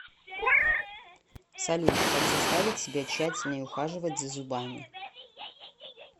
салют как заставить себя тщательнее ухаживать за зубами